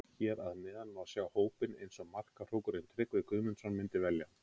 Hér að neðan má sjá hópinn eins og markahrókurinn Tryggvi Guðmundsson myndi velja hann.